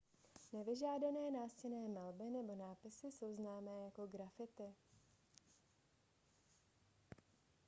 nevyžádané nástěnné malby nebo nápisy jsou známé jako graffiti